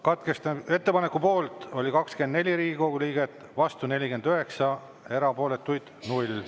Katkestamise ettepaneku poolt oli 24 Riigikogu liiget, vastu 49, erapooletuid 0.